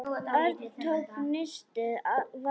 Örn tók nistið varlega upp.